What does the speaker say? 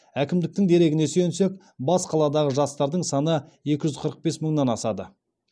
әкімдіктің дерегіне сүйенсек бас қаладағы жастардың саны екі жүз қырық бес мыңнан асады